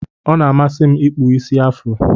Ọna amasim ikpụ isi afro.